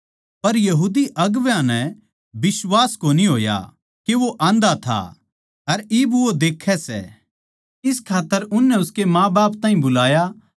पर यहूदी अगुवां नै बिश्वास कोनी होया के वो आन्धा था अर इब वो देक्खै सै इस खात्तर उननै उसके माँबाप ताहीं बुलाया